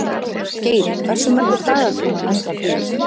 Geiri, hversu margir dagar fram að næsta fríi?